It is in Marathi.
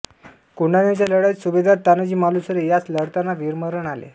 कोंढाण्याच्या लढाईत सुभेदार तानाजी मालुसरे यांस लढताना वीरमरण आले